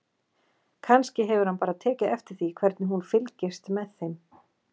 Kannski hefur hann bara tekið eftir því hvernig hún fylgist með þeim.